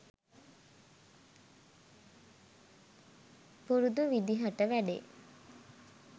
පුරුදු විදිහට වැඩේ